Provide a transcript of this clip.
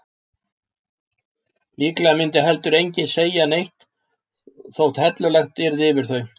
Líklega myndi heldur enginn segja neitt þótt hellulagt yrði yfir þau.